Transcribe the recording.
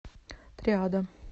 триада